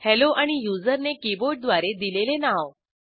hello आणि युजरने keyboard द्वारे दिलेले नाव